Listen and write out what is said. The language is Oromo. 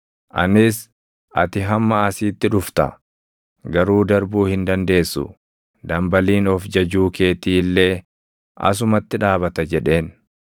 anis, ‘Ati hamma asiitti dhufta; garuu darbuu hin dandeessu; dambaliin of jajuu keetii illee asumatti dhaabata!’ jedheen.